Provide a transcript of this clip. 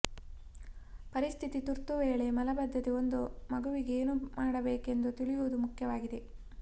ಪರಿಸ್ಥಿತಿ ತುರ್ತು ವೇಳೆ ಮಲಬದ್ಧತೆ ಒಂದು ಮಗುವಿಗೆ ಏನು ಮಾಡಬೇಕೆಂದು ತಿಳಿಯುವುದು ಮುಖ್ಯವಾಗಿದೆ